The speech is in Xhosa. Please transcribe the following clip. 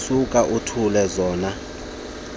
suka uthumele zona